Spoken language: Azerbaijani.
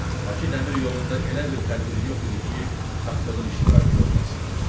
Bakı dəmir yolunda elə bir tədbir yox idi ki, Tapdığın iştirakı olmasın.